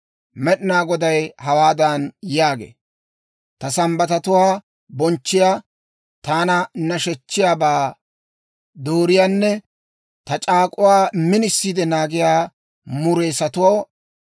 Med'inaa Goday hawaadan yaagee; «Ta Sambbatatuwaa bonchchiyaa, taana nashechchiyaabaa dooriyaanne ta c'aak'uwaa minisiide naagiyaa mureessatoo,